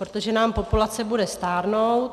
Protože nám populace bude stárnout.